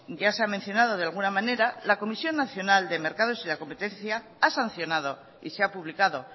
ya se ha mencionado de alguna manera la comisión nacional de mercados y la competencia ha sancionado y se ha publicado